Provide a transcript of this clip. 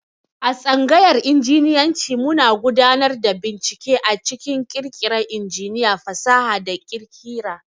A tsangayar Injinyanci muna gudanar da bincike a cikin ƙirƙira injiniya, fasaha, da ƙira.